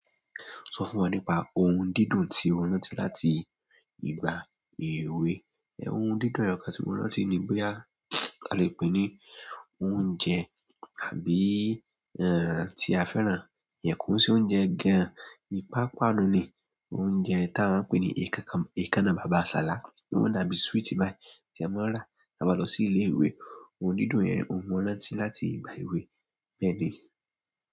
Sọ fún wa nípa ohun dídùn tí o rán láti ìgbà èwe. Ohun dídùn ẹyọ̀kan tí mo rántí ni bóyá a lè pè é ní oúnjẹ àbí eh tí a fẹ́ran, ìyẹn kò ń ṣe oúnjẹ gan. Ìpápanu ni, oúnjẹ tí a máa ń pè ní èékánná Bàbà Sàlá, ó máa n dàbí sweet bayi tí a máa ń rà tí a bá n lọ sí ilé ìwé. Ohun dídùn yẹn òún mo rántí láti ìgbà èwe, bẹ́ẹ̀ni.